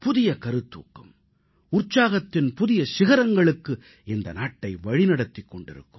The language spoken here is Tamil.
புதிய கருத்தூக்கம் உற்சாகத்தின் புதிய சிகரங்களுக்கு இந்த நாட்டை வழிநடத்திக் கொண்டிருக்கும்